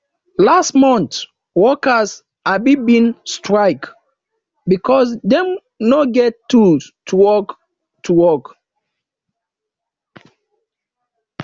last mont workers um bin strike because dem no get tools to work to work